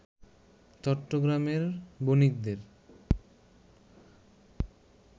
চট্টগ্রামের বণিকদের